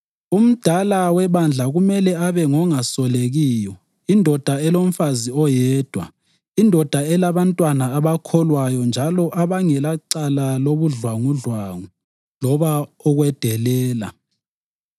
Umdala webandla kumele abe ngongasolekiyo, indoda elomfazi oyedwa, indoda elabantwana abakholwayo njalo abangelacala lobudlwangudlwangu loba ukwedelela.